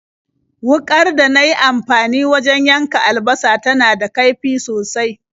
Wuƙar da na yi amfani wajen yanka albasa tana da kaifi sosai.